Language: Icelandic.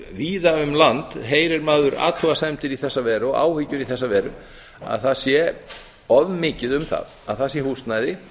víða um land heyrir maður athugasemdir í þessa veru og áhyggjur í þessa veru að það sé of mikið um það að það sé húsnæði